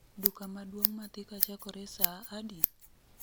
Duka maduong' ma thika chakore saa adi?